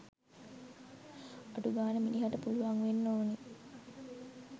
අඩුගානේ මිනිහට පුළුවන් වෙන්න ඕන